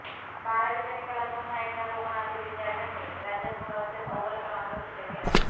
बारावीच्या निकालात पुन्हा एकदा कोकणातील विद्यार्थ्यांनी राज्यात गुणवत्तेत अव्वल क्रमांक सिद्ध केला